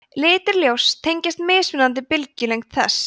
litir ljóss tengjast mismunandi bylgjulengd þess